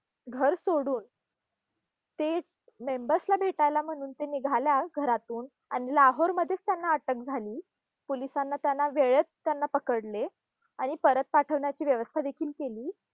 घर सोडून, ते members ना भेटायला म्हणून ते निघाल्या घरातून, आणि लाहोरमध्येच त्यांना अटक झाली. पोलिसांना त्यांना वेळीच त्यांना पकडले, आणि परत पाठवण्याची व्यवस्था देखील केली.